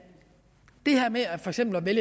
vil